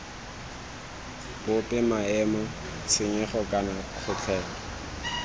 bope maemo tshenyego kana kgotlhelo